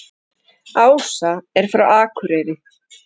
Ása er frá Akureyri.